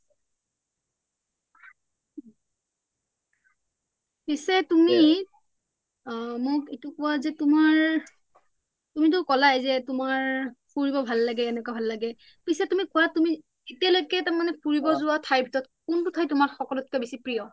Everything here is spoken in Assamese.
পিছে তুমি মোক এইটো কোৱা যে তোমাৰ তুমি টো কলাই যে তোমাৰ ফুৰিব ভাল এনেকুৱা ভাল লাগে পিছে তুমি কোৱা এতিয়ালৈকে ফুৰিব যোৱা ঠাই ভিতৰত কোনটো ঠাই তোমাৰ সকলোতকে প্ৰিয় ?